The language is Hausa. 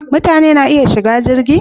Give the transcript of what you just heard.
Mutane na iya shiga jirgi?